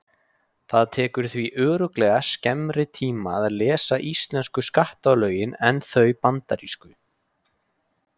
Það tekur því örugglega skemmri tíma að lesa íslensku skattalögin en þau bandarísku.